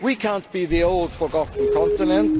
We cannot be the old forgotten continent.